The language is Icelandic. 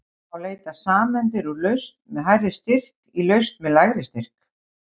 Þá leita sameindir úr lausn með hærri styrk í lausn með lægri styrk.